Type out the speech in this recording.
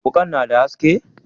wukan na da haske.